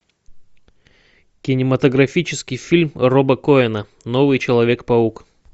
кинематографический фильм роба коэна новый человек паук